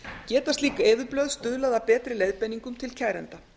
geta slík eyðublöð stuðlað að betri leiðbeiningum til kærenda